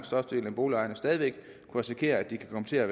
største del af boligejerne stadig væk kan risikere at de kan komme til at